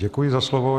Děkuji za slovo.